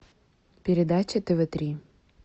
передача тв три